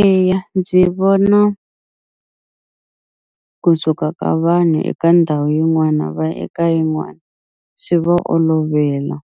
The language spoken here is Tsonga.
Eya ndzi vona kusuka ka vanhu eka ndhawu yin'wana va ya eka yin'wani swi va olovela